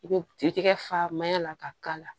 I bɛ ji kɛ faamaya la ka k'a la